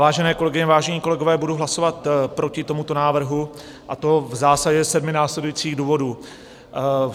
Vážené kolegyně, vážení kolegové, budu hlasovat proti tomuto návrhu, a to v zásadě ze sedmi následujících důvodů.